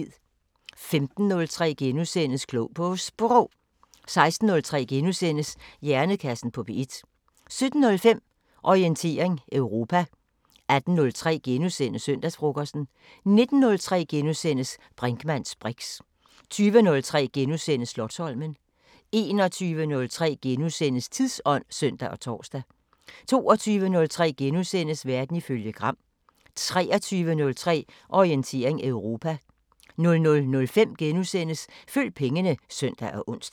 15:03: Klog på Sprog * 16:03: Hjernekassen på P1 * 17:05: Orientering Europa 18:03: Søndagsfrokosten * 19:03: Brinkmanns briks * 20:03: Slotsholmen * 21:03: Tidsånd *(søn og tor) 22:03: Verden ifølge Gram * 23:03: Orientering Europa 00:05: Følg pengene *(søn og ons)